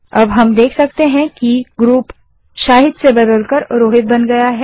अब हम देख सकते हैं कि ग्रुप शाहिद से बदलकर रोहित बन गया है